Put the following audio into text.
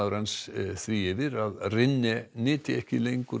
hans því yfir að nyti ekki